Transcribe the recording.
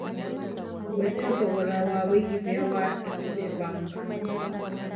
ngũeta thogora wa wĩigĩthĩa wa equity bank